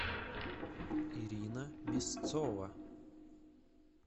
ирина мясцова